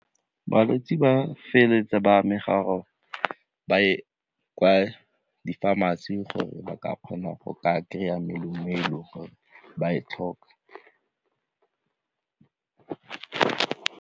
Balwetse ba feleletse ba amega gore ba ye kwa di-pharmacy gore ba ka kgona go ka kry-a melemo e e le gore ba e tlhoka.